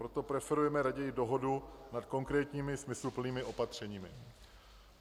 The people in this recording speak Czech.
Proto preferujeme raději dohodu nad konkrétními smysluplnými opatřeními.